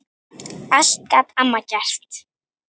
Allt gat amma gert.